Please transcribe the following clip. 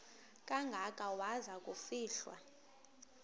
kangaka waza kufihlwa